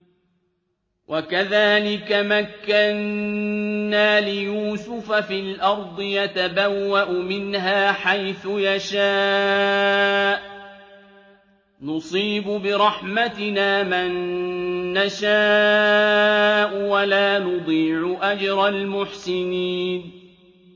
وَكَذَٰلِكَ مَكَّنَّا لِيُوسُفَ فِي الْأَرْضِ يَتَبَوَّأُ مِنْهَا حَيْثُ يَشَاءُ ۚ نُصِيبُ بِرَحْمَتِنَا مَن نَّشَاءُ ۖ وَلَا نُضِيعُ أَجْرَ الْمُحْسِنِينَ